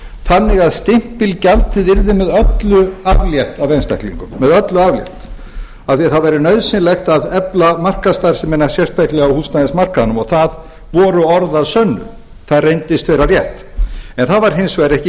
þannig að stimpilgjaldi yrði með öllu aflétt af einstaklingum af því að það væri nauðsynlegt að efla markaðsstarfsemi sérstaklega á húsnæðismarkaðnum og það voru orð að sönnu það reyndist vera rétt það var hins vegar ekki